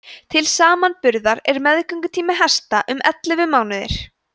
til samanburðar er meðgöngutími hesta um ellefu mánuðir